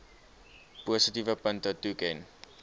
positiewe punte toeken